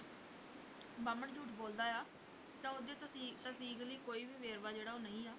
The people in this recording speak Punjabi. ਬਾਹਮਣ ਝੂਠ ਬੋਲਦਾ ਹੈ ਤਾਂ ਉਸਦੀ ਤਸੀਕ ਤਸਦੀਕ ਲਈ ਕੋਈ ਵੀ ਵੇਰਵਾ ਜਿਹੜਾ ਉਹ ਨਹੀਂ ਹੈ